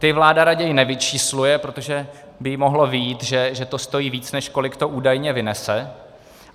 Ty vláda raději nevyčísluje, protože by jí mohlo vyjít, že to stojí víc, než kolik to údajně vynese.